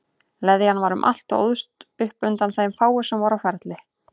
Leðjan var um allt og óðst upp undan þeim fáu sem voru á ferli.